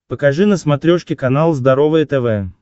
покажи на смотрешке канал здоровое тв